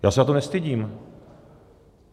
Já se za to nestydím.